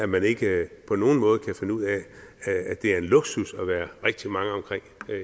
man ikke på nogen måde kan finde ud af at det er en luksus at være rigtig mange omkring